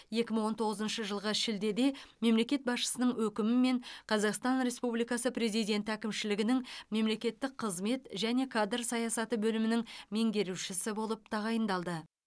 екі мың он тоғызыншы жылғы шілдеде мемлекет басшысының өкімімен қазақстан республикасы президенті әкімшілігінің мемлекеттік қызмет және кадр саясаты бөлімінің меңгерушісі болып тағайындалды